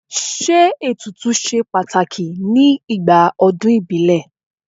Ṣé ètùtù ṣe pàtàkì ní igbà ọdún ìbílẹ̀?